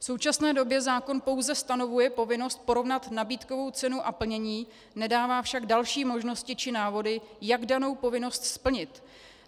V současné době zákon pouze stanovuje povinnost porovnat nabídkovou cenu a plnění, nedává však další možnosti či návody, jak danou povinnost splnit.